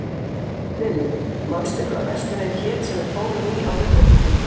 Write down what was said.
Lilly, manstu hvað verslunin hét sem við fórum í á miðvikudaginn?